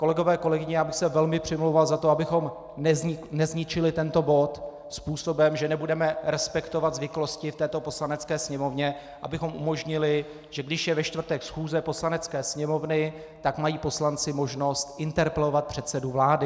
Kolegové, kolegyně, já bych se velmi přimlouval za to, abychom nezničili tento bod způsobem, že nebudeme respektovat zvyklosti v této Poslanecké sněmovně, abychom umožnili, že když je ve čtvrtek schůze Poslanecké sněmovny, tak mají poslanci možnost interpelovat předsedu vlády.